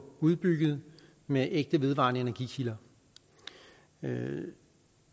udbygget med ægte vedvarende energi kilder men